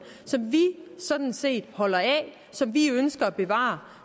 som vi sådan set holder af og som vi ønsker at bevare